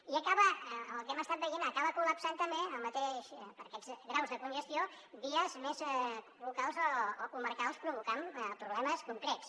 i el que hem estat veient acaba col·lapsant també per aquests graus de congestió vies més locals o comarcals provocant problemes concrets